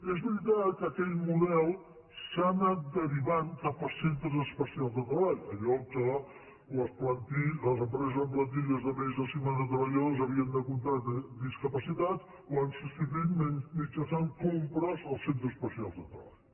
és veritat que aquell model s’ha anat derivant cap a centres especials de treball allò que les empreses amb plantilles de més de cinquanta treballadors havien de contractar discapacitats ho han substituït mitjançant compres als centres especials de treball